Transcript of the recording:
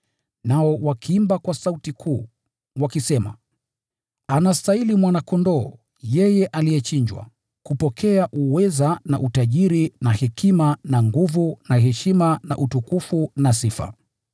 Nao waliimba kwa sauti kuu, wakisema: “Anastahili Mwana-Kondoo, yeye aliyechinjwa, kupokea uweza na utajiri na hekima na nguvu na heshima na utukufu na sifa!”